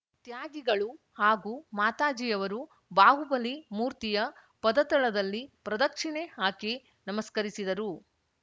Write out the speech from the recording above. ತ್ಯಾಗಿಗಳು ಹಾಗೂ ಮಾತಾಜಿಯವರು ಬಾಹುಬಲಿ ಮೂರ್ತಿಯ ಪದತಳದಲ್ಲಿ ಪ್ರದಕ್ಷಿಣೆ ಹಾಕಿ ನಮಸ್ಕರಿಸಿದರು